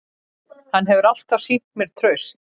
Hann hefur alltaf sýnt mér traust